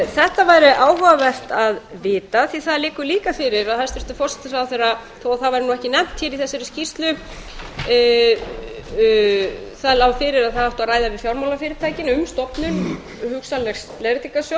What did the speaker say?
þetta væri áhugavert að vita því að það liggur líka fyrir að hæstvirtur forsætisráðherra þó að það væri ekki nefnt í þessari skýrslu að það átti að ræða við fjármálafyrirtækin um stofnun hugsanlegs leiðréttingarsjóðs það